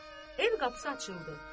Ev qapısı açıldı.